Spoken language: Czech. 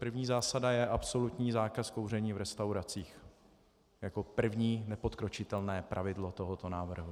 První zásada je absolutní zákaz kouření v restauracích jako první, nepodkročitelné pravidlo tohoto návrhu.